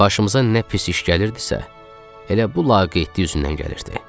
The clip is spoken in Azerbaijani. Başımıza nə pis iş gəlirdisə, elə bu laqeydlik üzündən gəlirdi.